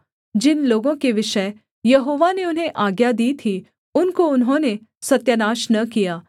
जिन लोगों के विषय यहोवा ने उन्हें आज्ञा दी थी उनको उन्होंने सत्यानाश न किया